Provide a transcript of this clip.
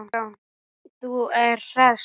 Þú ert hress!